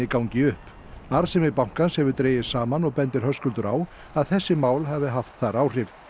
gangi upp arðsemi bankans hefur dregist saman og bendir Höskuldur á að þessi mál hafi haft þar áhrif